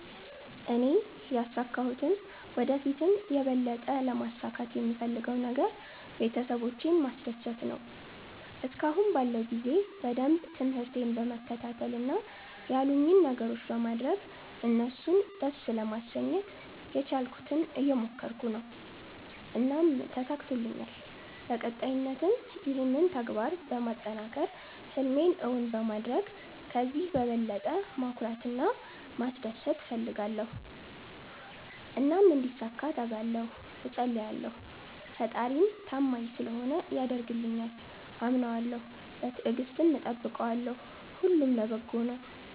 እኔ ያሣካሁትም ወደ ፊትም የበለጠ ለማሣካት የምፈለገው ነገር ቤተሠቦቼን ማስደሰት ነዎ። እስከአሁን ባለው ጊዜ በደንብ ትምርህቴን በመከታተል እና ያሉኝን ነገሮች በማድረግ እነሡን ደስ ለማሠኘት የቻልኩትን እየሞከረኩ ነው። እናም ተሣክቶልኛል በቀጣይነትም ይህንን ተግባር በማጠናከር ህልሜን እውን በማድረግ ከዚህ በበለጠ ማኩራት እና ማስደሰት እፈልጋለሁ። እናም እንዲሣካ እተጋለሁ እፀልያለሁ። ፈጣሪም ታማኝ ስለሆነ ያደርግልኛል። አምነዋለሁ በትግስትም እጠብቀዋለሁ። ሁሉም ለበጎ ነው።